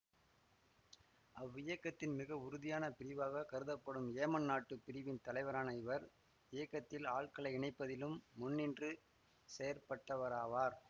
அவ்வியக்கத்தின் மிக உறுதியான பிரிவாக கருதப்படும் ஏமன் நாட்டு பிரிவின் தலைவரான இவர் இயக்கத்தில் ஆட்களை இணைப்பதிலும் முன்னின்று செயற்பட்டவராவார்